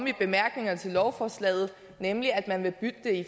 i bemærkningerne til lovforslaget nemlig at man vil bytte det